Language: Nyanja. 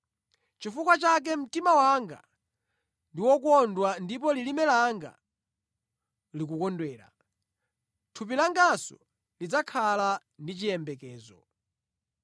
Chifukwa chake mtima wanga ndi wokondwa ndipo lilime langa likukondwera; thupi langanso lidzakhala ndi chiyembekezo.